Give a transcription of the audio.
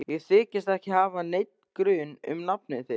Ég þykist ekki hafa neinn grun um nafn þitt.